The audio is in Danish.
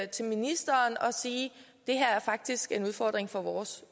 til ministeren og sige det her er faktisk en udfordring for vores